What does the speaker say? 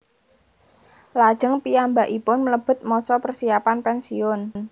Lajeng piyambakipun mlebet masa persiapan pensiun